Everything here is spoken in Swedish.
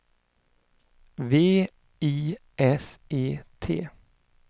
V I S E T